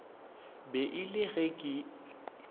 be e le ge e